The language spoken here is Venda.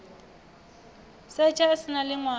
setsha a si na ḽiṅwalo